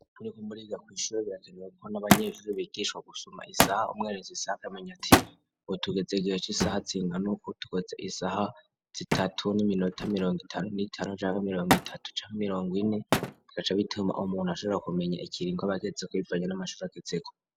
Muriko muriga kw'ishure birakeneweko n'abanyeshuri bigishwa gusoma isaha, umweretse isaha akamenya ati ubu tugeze igihe c'isaha zingana uku, tugeze isaha zitatu n'iminota mirongo itanu n'itanu canke mirongo itatu canke mirongo ine, bigaca bituma umuntu ashobora kumenya ikiringo abagezeko bivanya n'amashure agezeko.